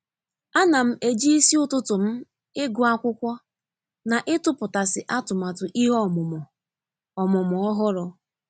A na m e ji isi ụtụtụ m ịgụ akwụkwọ na ịtụputasị atụmatụ ihe ọmụmụ ọmụmụ ọhụrụ.